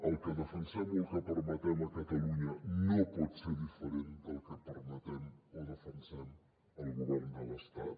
el que defensem o el que permetem a catalunya no pot ser diferent del que permetem o defensem al govern de l’estat